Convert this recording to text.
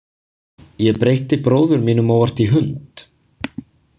Ég breytti bróður mínum óvart í hund.